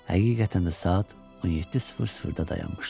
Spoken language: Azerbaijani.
Həqiqətən də saat 17:00-da dayanmışdı.